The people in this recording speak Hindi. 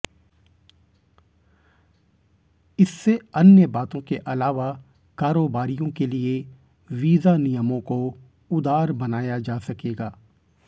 इससे अन्य बातों के अलावा कारोबारियों के लिए वीजा नियमों को उदार बनाया जा सकेगा